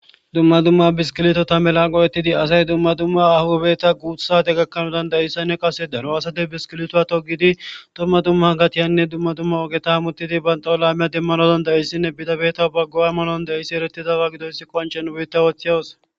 dumma dumma biskilito ta melan qo7ettidi asay dumma dumma ahubeta guuthsaate gakkanoodan dayissanne qase daro asate biskilitoa togidi domma dumma gatiyanne dumma dumma ogeta muttidi ban xolamiya demmanodon dayissinne bidabeta baggo ammalon daissi eretizawa gidoyssi konchen wuyitta wooththeyawus